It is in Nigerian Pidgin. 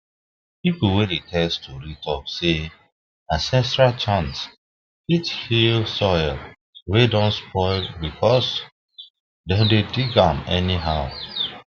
people wey dey tell story talk sey ancestral chant fit heal soil wey don spoil because dem dey dig am anyhow